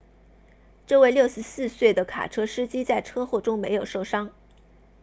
这位64岁的卡车司机在车祸中没有受伤